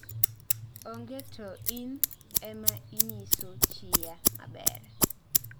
Onge too ni en ema onyiso chiya maber